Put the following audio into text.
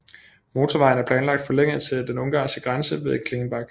Motorvejen er planlagt forlænget til den ungarske grænse ved Klingenbach